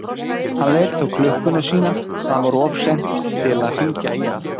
Hann leit á klukkuna sína, það var of seint til að hringja í hana.